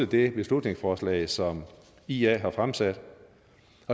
det beslutningsforslag som ia har fremsat